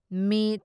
ꯃꯤꯠ